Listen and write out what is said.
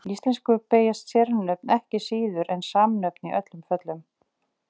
Í íslensku beygjast sérnöfn ekki síður en samnöfn í öllum föllum.